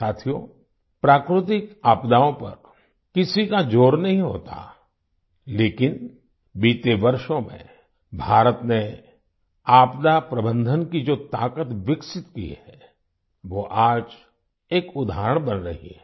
साथियो प्राकृतिक आपदाओं पर किसी का ज़ोर नहीं होता लेकिन बीते वर्षों में भारत ने आपदा प्रबंधन की जो ताकत विकसित की है वो आज एक उदाहरण बन रही है